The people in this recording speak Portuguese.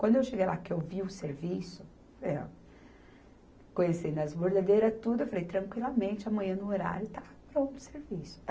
Quando eu cheguei lá, que eu vi o serviço, eh, conhecendo as bordadeiras tudo, eu falei, tranquilamente, amanhã no horário está pronto o serviço.